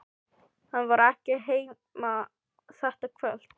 Hann var ekki heima þetta kvöld.